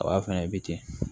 A b'a fana bɛ ten